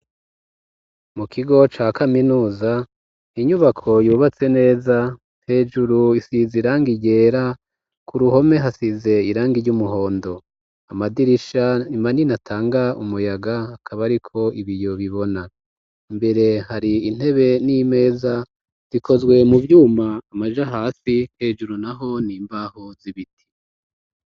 Mu kigo ca kaminuza inyubako yubatse neza hejuru isize irangi ryera, ku ruhome hasize irangi ry'umuhondo, amadirisha manini atanga umuyaga akaba ariko ibiyo bibona, imbere hari intebe n'imeza zikozwe mu vyuma amaja hasi hejuru naho n'imbaho z'ibiti.